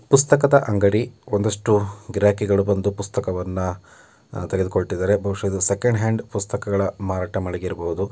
ಪುಸ್ತಕದ ಅಂಗಡಿ ಒಂದಷ್ಟು ಗಿರಾಕಿಗಳು ಬಂದು ಪುಸ್ತಕವನ್ನ ತೆಗೆದುಕೊಳ್ಳುತ್ತಿದ್ದಾರೆ ಬಹುಷಃ ಇದು ಸೆಕೆಂಡ್ ಹ್ಯಾಂಡ್ ಪುಸ್ತಕಗಳ ಮಾರಾಟ ಮಳಿಗೆ ಇರಬಹುದು--